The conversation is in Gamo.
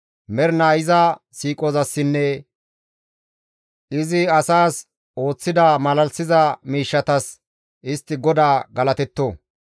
Mernaa iza siiqozassinne izi asaas ooththida malalisiza miishshatas istti GODAA galatetto.